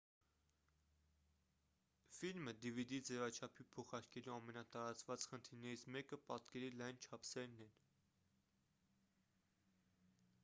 ֆիլմը dvd ձևաչափի փոխարկելու ամենատարածված խնդիրներից մեկը պատկերի լայն չափսերն են